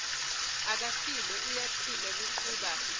akafile uyaphila kuqhuba